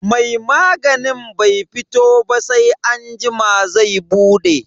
Mai maganin bai fito ba sai anjima zai bude.